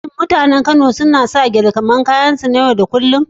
Shin mutanen Kano sukan sanya gele a cikin kayansu na yau da kullun?